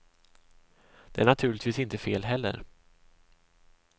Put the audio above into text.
Det är naturligtvis inte fel heller.